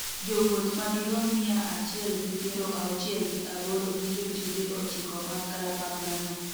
jowuoth madirom mia achiel gi piero auchiel gi aboro gi jotije ochiko mag kalapapla no